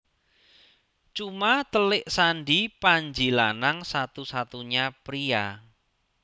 Cuma telik Sandi Panji Lanang satu satunya pria